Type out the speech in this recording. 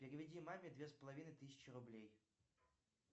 переведи маме две с половиной тысячи рублей